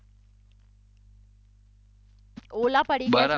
ઓલા પડી ગયા છો